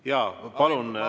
Jaa, palun!